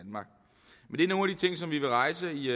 er nogle ting som vi vil rejse i